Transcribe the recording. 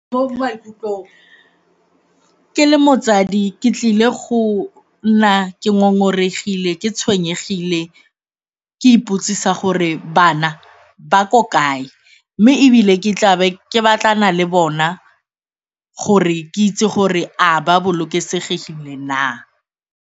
Ke le motsadi ke tlile go nna ke ngongoregile, ke tshwenyegile, ke ipotsisa gore bana ba ko kae mme ebile ke tla be ke batlana le bona gore ke itse gore a ba bolokesegile na.